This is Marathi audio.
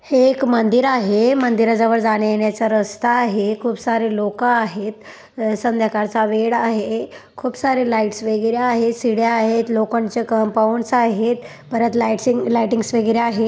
हे एक मंदिर आहे मंदिराजवळ जाण्या येण्याचा रस्ता आहे खूप सारे लोक आहेत अ-संध्याकाळचा वेळ आहे खूप सारे लाईटस वगैरे आहेत शिड्या आहेत लोखंडच कंपाऊंड्स आहेत परत लाइटसिंग-लाइटिंग्स वगैरे आहेत.